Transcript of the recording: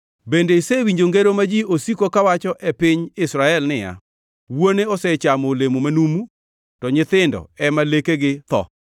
“Bende isewinjo ngero ma ji osiko kawacho e piny Israel niya, “ ‘Wuone osechamo olemo manumu, to nyithindo ema lekegi tho?’